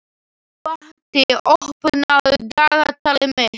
Patti, opnaðu dagatalið mitt.